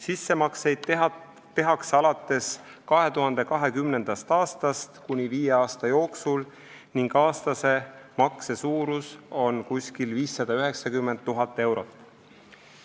Sissemakseid tehakse alates 2020. aastast kuni viie aasta jooksul ning aastase makse suurus on umbes 590 000 eurot.